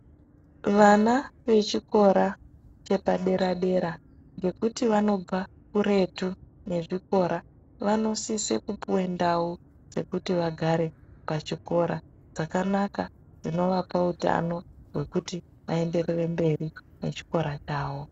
Vana vechikora chepadera dera ngekuti vanobva kuretu nezvikora vanosise kuouwe ndau dzekuti vagare pachikora dzakanaka dzinovapa utano hwekuti vaenderere mberi nechikora chavo.